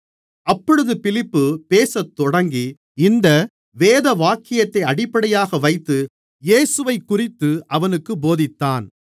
அப்பொழுது பிலிப்பு பேசத்தொடங்கி இந்த வேதவாக்கியத்தை அடிப்படையாக வைத்து இயேசுவைக்குறித்து அவனுக்குப் போதித்தான்